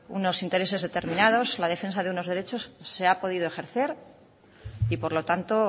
unos intereses determinados o la defensa de unos derechos se ha podido ejercer y por lo tanto